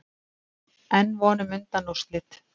Enn von um undanúrslit